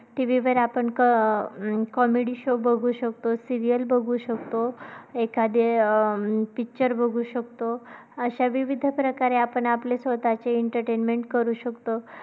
TV वर आपण का comedy show बघू शकतो serial बघू शकतो एखादी picture बघू शकतो.